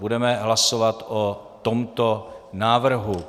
Budeme hlasovat o tomto návrhu.